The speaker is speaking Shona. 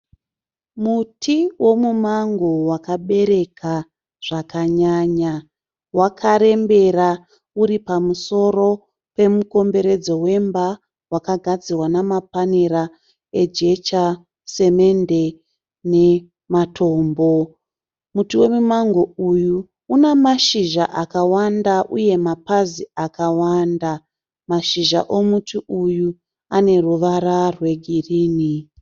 Muti wemumango wakabereka zvakanyanya. Wakarembera uripamusoro pemukomberedzo wemba wakagadzirwa namapanera ejecha, simende nematombo. Muti wemumango uyu une mashizha akawanda uye mapazi akawanda. Mashizha omuti uyu uneruvara rwegirinhi.